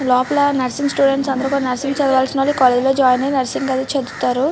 లోపల nursing students అందరూ కూడా నర్సింగ్ చదవాల్సిన వాళ్ళు ఈ కాలేజీ లో జాయిన్ అయి నర్సింగ్ అది చదువుతారు.